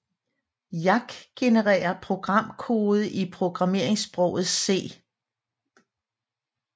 Yacc genererer programkode i programmeringssproget C